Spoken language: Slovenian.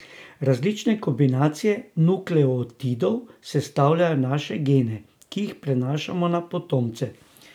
Različne kombinacije nukleotidov sestavljajo naše gene, ki jih prenašamo na potomce.